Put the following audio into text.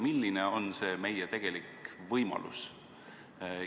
Milline on meie tegelik võimalus?